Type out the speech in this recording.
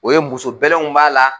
O ye muso bɛlɛnw b'a la